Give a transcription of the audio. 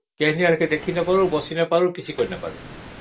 କେହି କାହାରିଠୁ ଦେଖିପାରିବେ ନାହିଁ